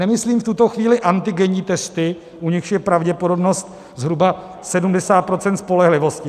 Nemyslím v tuto chvíli antigenní testy, u nichž je pravděpodobnost zhruba 70 % spolehlivosti.